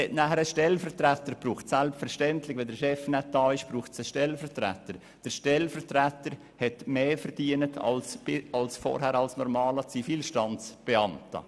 Weiter bedurfte es eines Stellvertreters, der mehr verdiente als zuvor ein normaler Zivilstandsbeamter.